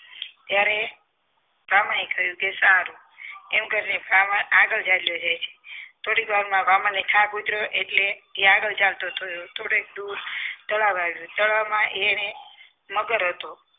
ત્યારે બ્રાહ્મણે કહ્યું કે સારું એમ કરીને બ્રાહ્મણ આગળ ચાલ્યો જાય છે થોડીક વારમાં બ્રાહ્મણને થાક ઉતર્યો એટલે આગળ ચાલતો થયો થોડીક દૂર તળાવ આવ્યો તળાવમાં એને મગર હતો